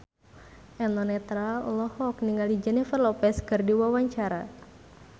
Eno Netral olohok ningali Jennifer Lopez keur diwawancara